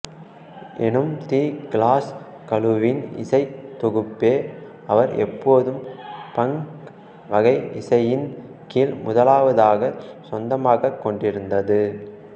எனும் the Clash குழுவின் இசைத் தொகுப்பே அவர் எப்போதும் பங்க் வகை இசையின் கீழ் முதலாவதாகக் சொந்தமாகக் கொண்டிருந்தது